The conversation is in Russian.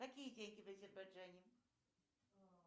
какие деньги в азербайджане